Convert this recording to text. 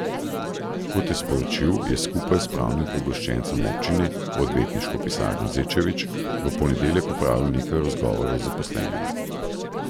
Kot je sporočil, je skupaj s pravnim pooblaščencem občine, odvetniško pisarno Zečevič, v ponedeljek opravil nekaj razgovorov z zaposlenimi.